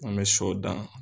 An me sɔ dan